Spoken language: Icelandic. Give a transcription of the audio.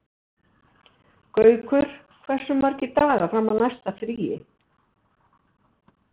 Gaukur, hversu margir dagar fram að næsta fríi?